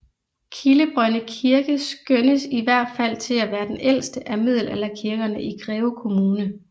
Kildebrønde Kirke skønnes i hvert fald til at være den ældste af middelalderkirkerne i Greve Kommune